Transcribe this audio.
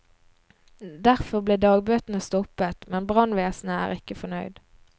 Derfor ble dagbøtene stoppet, men brannvesenet er ikke fornøyd.